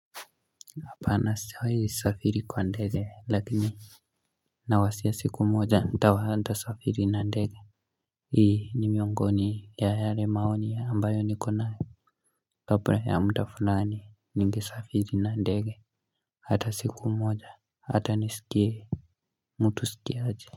Apana sijawai safiri kwa ndege lakini Nawasia siku moja mta waanta safiri na ndege Hii ni miongoni ya hale maoni ambayo nikona Topre ya mta fulani ningi safiri na ndege Hata siku moja hata nisikie mtu uskia aje.